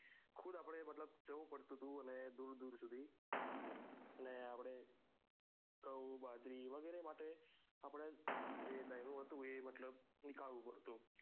ખુદ અપડે મતલબ જવું પડતું હતું ને દુર દુર સુધ ને આપડે ઘઉં બાજરી વગેરે માટે આપડે જે મતલબ દઈનુંહતું એ નીકળવું પડતું